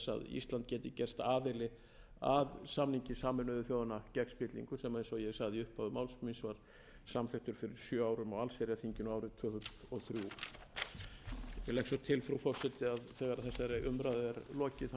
ísland geti gerst aðili að samningi sameinuðu þjóðanna gegn spilling sem eins og ég sagði í upphafi máls míns var samþykktur fyrir sjö árum á allsherjarþinginu árið tvö þúsund og þrjú ég legg svo til frú forseti að þegar þessari umræðu er lokið verði málinu